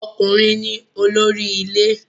Ọkùnrin ni olórí ilé